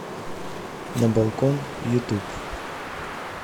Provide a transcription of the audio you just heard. на балкон ютуб